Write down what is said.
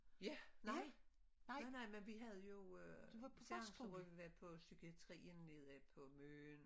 Ja nej! Nej nej men vi havde jo øh så havde vi været på psykiatrien nede på Møn